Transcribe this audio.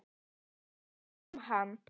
Ég held við fáum hann.